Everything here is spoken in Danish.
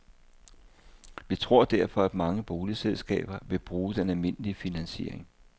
Vi tror derfor, at mange boligselskaber vil bruge den almindelige finansiering.